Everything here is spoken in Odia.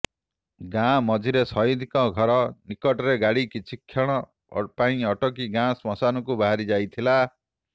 ଗାଁ ମଝିରେ ସହିଦଙ୍କ ଘର ନିକଟରେ ଗାଡ଼ି କିଛି କ୍ଷଣ ପାଇଁ ଅଟକି ଗାଁ ଶ୍ମଶାନକୁ ବାହାରି ଯାଇଥିଲା